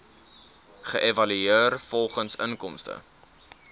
geëvalueer volgens inkomste